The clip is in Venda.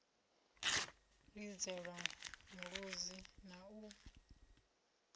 u lidzelwa mulodzi na u